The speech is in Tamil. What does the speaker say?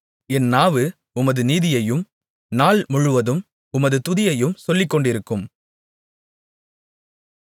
என் நாவு உமது நீதியையும் நாள்முழுவதும் உமது துதியையும் சொல்லிக்கொண்டிருக்கும்